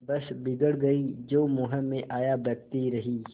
बस बिगड़ गयीं जो मुँह में आया बकती रहीं